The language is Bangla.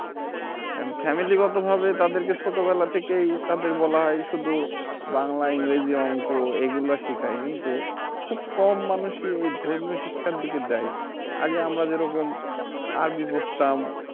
And Family গত ভাবে তাদেরকে ছোটবেলা থেকেই তাদের বলা হয় শুধু বাংলা ইংরেজি অংক এগুলা শিখায় কিন্তু খুব মানুষই এই ধর্মীয় শিক্ষার দিকে দেয় আগে আমরা যেরকম আরবি পড়তাম